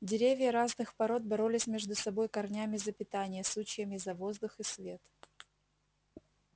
деревья разных пород боролись между собой корнями за питание сучьями за воздух и свет